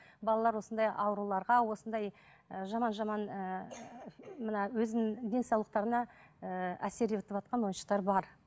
балалар осындай ауруларға осындай ііі жаман жаман ііі мына өзінің денсаулықтарына ііі әсер етіватқан ойыншықтар бар